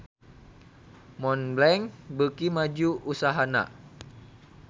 Montblanc beuki maju usahana